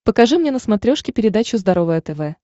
покажи мне на смотрешке передачу здоровое тв